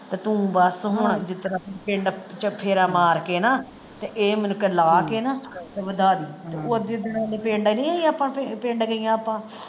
ਤੇ ਤੂੰ ਬਸ ਹੁਣ ਪਿੰਡ ਚ ਫੇਰਾ ਮਾਰ ਕੇ ਨਾ ਤੇ ਇਹ ਮੁੜਕੇ ਲਾਹ ਕੇ ਨਾ ਤੇ ਵਧਾ ਦਈ ਪਿੰਡ ਗਈਆਂ ਆਪਾਂ।